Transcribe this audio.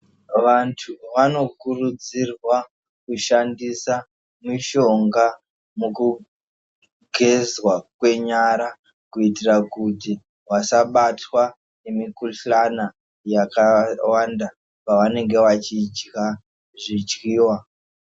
Vantu vanokurudzirwa kushandisa mishonga mukugezwa kwenyara kuitira kuti vasabatwa ngemikhuhlani yakawanda pavanenge vachidya zvidyiwa.